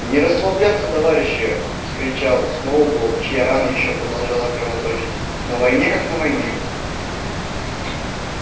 не расслабляться товарищи вскричал сноуболл чья рана ещё продолжала кровоточить на войне как на войне